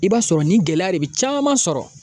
I b'a sɔrɔ nin gɛlɛya de bɛ caman sɔrɔ